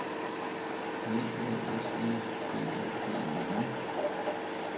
L Æ S E B O G E N